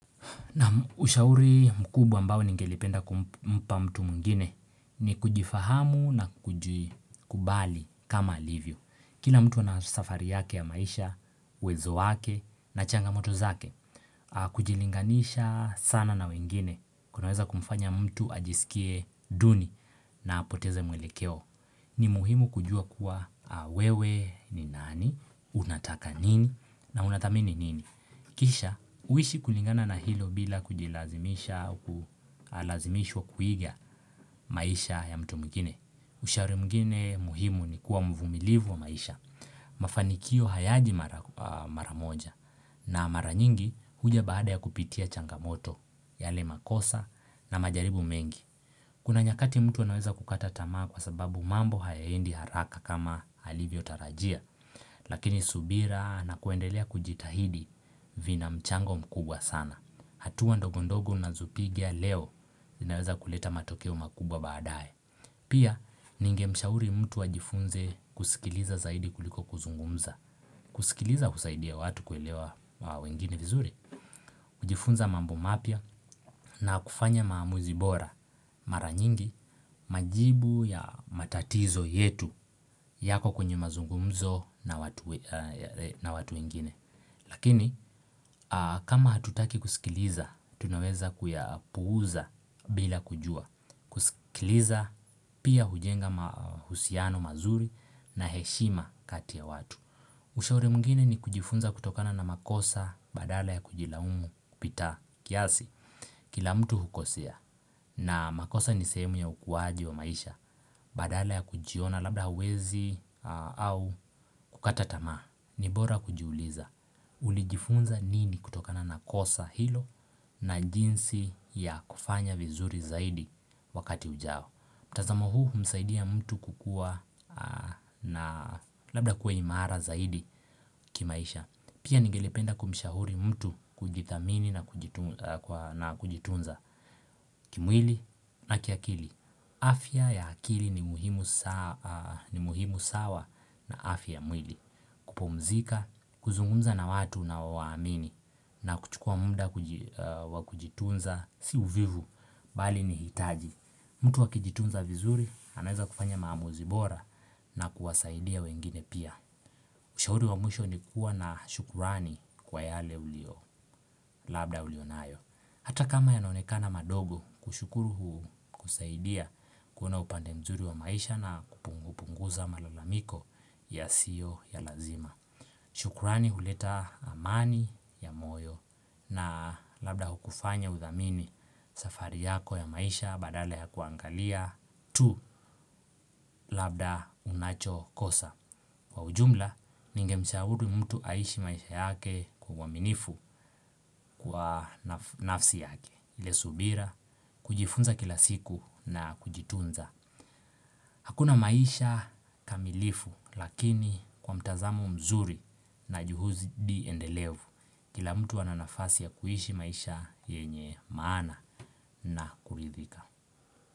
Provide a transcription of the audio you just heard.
Naam ushauri mkubwa ambao ningelipenda kumpa mtu mwingine ni kujifahamu na kujikubali kama alivyo. Kila mtu anasafari yake ya maisha, uwezo wake na changamoto zake, kujilinganisha sana na wengine. Kunaweza kumfanya mtu ajisikie duni na apoteze mwelekeo. Ni muhimu kujua kuwa wewe ni nani, unataka nini, na unathamini nini. Kisha, uishi kulingana na hilo bila kujilazimisha au kulazimishwa kuiga maisha ya mtu mwingine. Ushauri mwingine muhimu nikuwa mvumilivu wa maisha. Mafanikio hayaji maramoja na maranyingi huja baada ya kupitia changamoto, yale makosa na majaribu mengi. Kuna nyakati mtu anaweza kukata tamaa kwa sababu mambo hayaendi haraka kama alivyo tarajia Lakini subira na kuendelea kujitahidi vina mchango mkubwa sana hatuwa ndogondogo unazopiga leo zinaweza kuleta matokeo makubwa badae Pia ningemshauri mtu ajifunze kusikiliza zaidi kuliko kuzungumza kusikiliza husaidia watu kuelewa wengine vizuri kujifunza mambo mapya na kufanya maamuzi bora mara nyingi majibu ya matatizo yetu yako kwenye mazungumzo na watu wengine. Lakini kama hatutaki kusikiliza, tunaweza kuyapuuza bila kujua. Kusikiliza pia hujenga mahusiano mazuri na heshima kati ya watu. Ushauri mwingine ni kujifunza kutokana na makosa badala ya kujilaumu kupita kiasi kila mtu hukosea na makosa ni sehemu ya ukuaji wa maisha badala ya kujiona labda hauwezi au kukata tamaa. Ni bora kujiuliza ulijifunza nini kutokana na kosa hilo na jinsi ya kufanya vizuri zaidi wakati ujao. Tazamo huu humsaidia mtu kukua na labda kuwa imara zaidi kimaisha. Pia ningelipenda kumshauri mtu kujidhamini na kujitunza. Kimwili na kiakili. Afya ya akili ni muhimu sawa na afya ya mwili. Kupumzika, kuzungumza na watu unaowamini na kuchukua muda wakujitunza si uvivu bali ni hitaji. Mtu akijitunza vizuri, anaweza kufanya maamuzi bora na kuwasaidia wengine pia. Ushauri wa mwisho ni kuwa na shukrani kwa yale ulio, labda ulio nayo. Hata kama yanaonekana madogo, kushukuru kusaidia kuna upande mzuri wa maisha na kupunguza malalamiko ya sio ya lazima. Shukrani huleta amani ya moyo na labda hukufanya udhamini safari yako ya maisha badala ya kuangalia. Tu labda unachokosa Kwa ujumla, ninge mshahudu mtu aishi maisha yake kwa uhaminifu kwa nafsi yake ile subira, kujifunza kila siku na kujitunza Hakuna maisha kamilifu, lakini kwa mtazamo mzuri na juhudi endelevu Kila mtu ananafasi ya kuhishi maisha yenye maana na kuridhika.